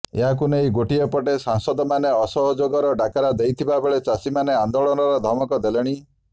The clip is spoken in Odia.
ଏହାକୁ ନେଇ ଗୋଟିଏ ପଟେ ସଂପାଦକମାନେ ଅସହଯୋଗର ଡାକରା ଦେଇଥିବାବେଳେ ଚାଷୀମାନେ ଆନ୍ଦୋଳନର ଧମକ ଦେଲେଣି